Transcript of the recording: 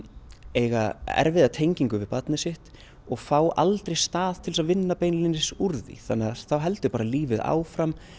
eiga erfiða tengingu við barnið sitt og fá aldrei stað til að vinna beinlínis úr því þannig að þá heldur bara lífið áfram